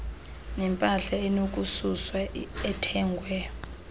nempahla enokususwa ethengwe